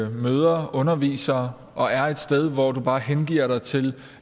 møder undervisere og er et sted hvor du bare hengiver dig til